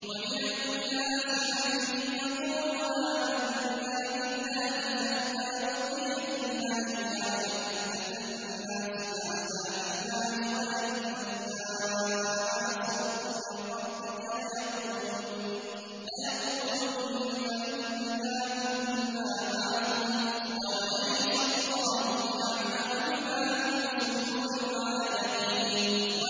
وَمِنَ النَّاسِ مَن يَقُولُ آمَنَّا بِاللَّهِ فَإِذَا أُوذِيَ فِي اللَّهِ جَعَلَ فِتْنَةَ النَّاسِ كَعَذَابِ اللَّهِ وَلَئِن جَاءَ نَصْرٌ مِّن رَّبِّكَ لَيَقُولُنَّ إِنَّا كُنَّا مَعَكُمْ ۚ أَوَلَيْسَ اللَّهُ بِأَعْلَمَ بِمَا فِي صُدُورِ الْعَالَمِينَ